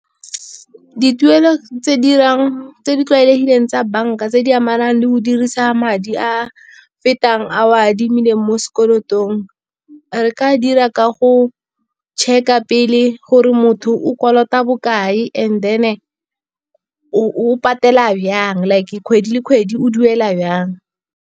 Dituelo tse di tlwaelegileng tsa bank-a tse di amanang le go dirisa madi a fetang a o a adimileng mo sekolotong. Re ka dira ka go check-a pele gore motho o kolota bokae, and then o patela jang, like kgwedi le kgwedi o duela jang.